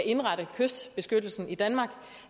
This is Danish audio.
indrette kystbeskyttelsen i danmark